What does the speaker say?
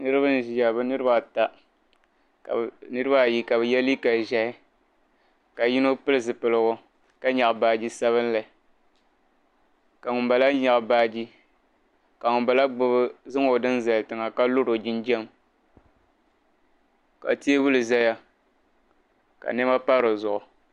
Niriba n-ʒiya bɛ niriba ata niriba ayi ka ye liiga ʒɛhi ka yino pili zipilgu ka nyaɣi baaji sabinli ka ŋun bala nyaɣi baaji ka ŋun bala zaŋ o dini zali tiŋa ka lori o jinjam ka teebuli zaya ka nɛma pa di zuɣu.